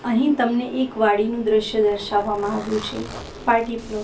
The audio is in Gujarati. અહીં તમને એક વાડીનું દ્રશ્ય દર્શાવવામાં આવ્યું છે પાર્ટી પ્લોટ .